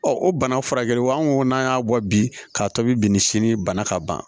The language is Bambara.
o bana furakɛliw an ko n'an y'a bɔ bi k'a tobi bi ni sini bana ka ban